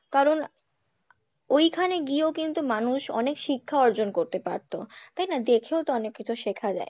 কারণ ওইখানে গিয়েও কিন্তু মানুষ অনেক শিক্ষার অর্জন করতে পারতো তাই না? দেখেও তো অনেক কিছু শেখা যায়